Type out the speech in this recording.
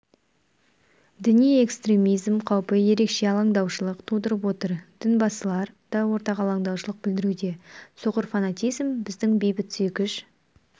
діни экстремизм қаупі ерекше алаңдаушылық тудырып отыр дінбасылар да ортақ алаңдаушылық білдіруде соқыр фанатизм біздің бейбітсүйгіш